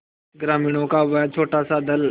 ग्रामीणों का वह छोटासा दल